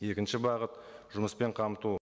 екінші бағыт жұмыспен қамту